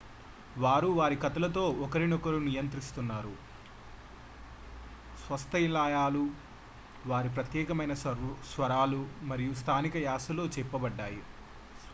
వారు వారి కథలతో ఒకరినొకరు నియంత్రిస్తున్నారు స్వస్థలాలు వారి ప్రత్యేకమైన స్వరాలు మరియు స్థానిక యాస లో చెప్పబడ్డాయి